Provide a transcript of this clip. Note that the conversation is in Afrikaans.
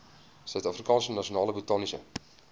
suidafrikaanse nasionale botaniese